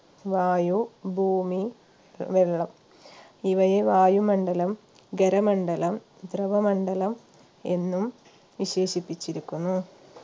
വായു ഭൂമി വെള്ളം ഇവയെ വായുമണ്ഡലം ഖരമണ്ഡലം ദ്രവമണ്ഡലം എന്നും വിശേഷിപ്പിച്ചിരിക്കുന്നു